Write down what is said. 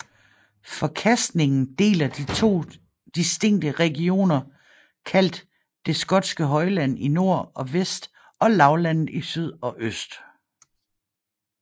Forkastningen deler de to distinkte regioner kaldt det skotske højland i nord og vest og lavlandet i syd og øst